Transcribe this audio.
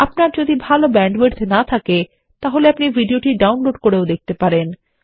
আপনার যদি ভাল ব্যান্ডউইডথ না থাকে আপনি ভিডিওটি ডাউনলোড করেও দেখতে পারেন